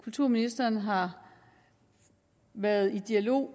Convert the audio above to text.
kulturministeren har været i dialog